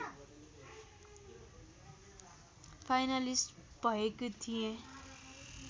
finalist भएको थिएँ